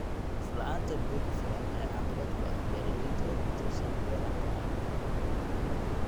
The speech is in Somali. La'aanta biyo ku filan ayaa caqabad ku ah beeralayda oo ku tiirsan beeraha waraabka.